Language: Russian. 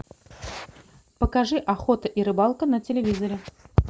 покажи охота и рыбалка на телевизоре